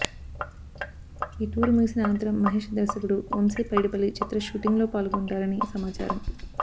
ఈ టూర్ ముగిసిన అనంతరం మహేష్ దర్శకుడు వంశి పైడిపల్లి చిత్ర షూటింగ్ లో పాల్గొంటారని సమాచారం